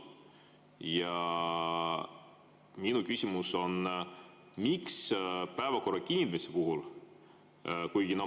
Ja minu küsimus on.